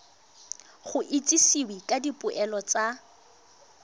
go itsisiwe ka dipoelo tsa